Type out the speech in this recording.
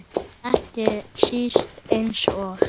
Ekki síst eins og